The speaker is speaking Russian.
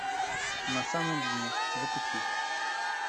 на самом дне запусти